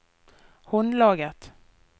håndlaget